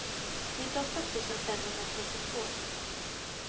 nittioåtta tusen femhundratrettiotvå